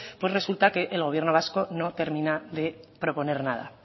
pues resulta que el gobierno vasco no termina de proponer nada